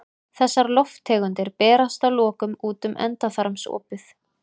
Þessar lofttegundir berast að lokum út um endaþarmsopið.